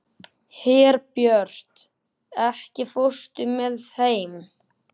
Herbjört, ekki fórstu með þeim?